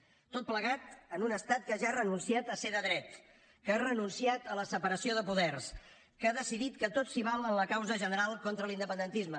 tot plegat en un estat que ja ha renunciat a ser de dret que ha renunciat a la separació de poders que ha decidit que tot s’hi val en la causa general contra l’independentisme